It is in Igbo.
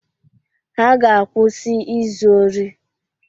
Ha ga-akwụsị izu ori.